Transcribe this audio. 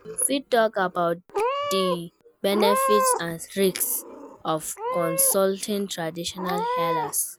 You fit talk about di benefits and risks of consulting traditional healers.